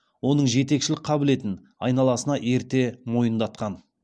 оның жетекшілік қабілетін айналасына ерте мойындатқан